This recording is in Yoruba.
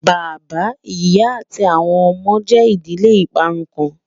Bàbá, ìyà, àti awọn ọmọde jẹ́ ìdílé ìparún kan